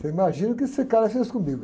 Você imagina o que esse cara fez comigo?